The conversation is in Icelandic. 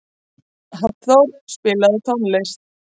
Hallþór, spilaðu tónlist.